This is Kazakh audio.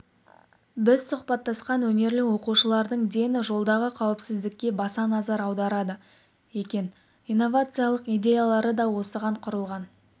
біз сұхбаттасқан өнерлі оқушылардың дені жолдағы қауіпсіздікке баса назар аударады екен инновациялық идеялары да осыған құрылған